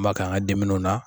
An ma k'an ka dimuniw na